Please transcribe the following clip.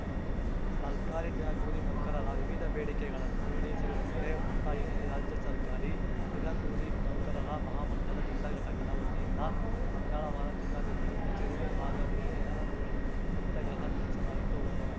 ಸರ್ಕಾರಿ ದಿನಗೂಲಿ ನೌಕರರ ವಿವಿಧ ಬೇಡಿಕೆಗಳನ್ನು ಈಡೇರಿಸುವಂತೆ ಒತ್ತಾಯಿಸಿ ರಾಜ್ಯ ಸರ್ಕಾರಿ ದಿನಕೂಲಿ ನೌಕರರ ಮಹಾಮಂಡಲ ಜಿಲ್ಲಾ ಘಟಕದ ವತಿಯಿಂದ ಮಂಗಳವಾರ ಜಿಲ್ಲಾಧಿಕಾರಿ ಕಚೇರಿ ಮುಂಭಾಗ ಒಂದು ದಿನದ ಧರಣಿ ಸತ್ಯಾಗ್ರಹ ನಡೆಸಲಾಯಿತು